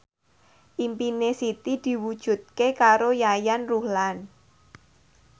impine Siti diwujudke karo Yayan Ruhlan